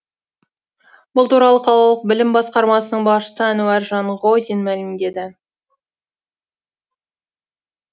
бұл туралы қалалық білім басқармасының басшысы әнуар жанғозин мәлімдеді